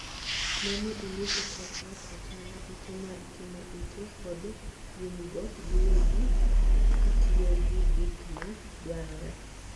Ne ni ilwoko kor ot, otanda, ute mag timo ute, kod winygo giwegi kitiyo gi gik ma dwarore.